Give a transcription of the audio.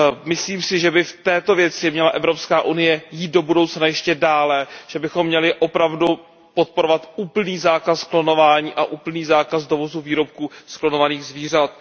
Myslím si, že by v této věci měla Evropská unie jít do budoucna ještě dále, že bychom měli opravdu podporovat úplný zákaz klonování a úplný zákaz dovozu výrobků z klonovaných zvířat.